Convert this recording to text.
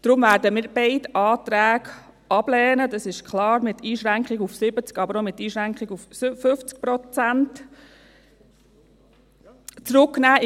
Deshalb werden wir beide Anträge ablehnen, dies ist klar, die Einschränkung auf 70, aber auch die Einschränkung auf 50 Prozent.